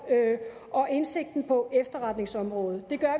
og indsigten på efterretningsområdet det gør